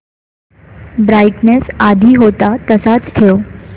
brightness आधी होता तसाच ठेव